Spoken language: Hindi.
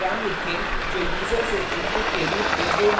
एक program लिखें जो यूजर से input के रूप में दो numbers ले